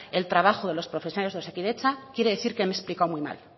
el trabajo de los profesionales de osakidetza quiere decir que